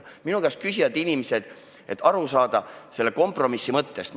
Inimesed esitavad mulle küsimusi, et selle kompromissi mõttest aru saada.